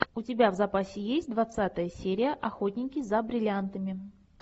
у тебя в запасе есть двадцатая серия охотники за бриллиантами